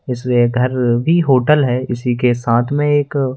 इसलिए घर भी होटल है इसी के साथ में एक--